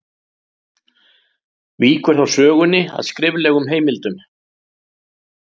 Víkur þá sögunni að skriflegum heimildum.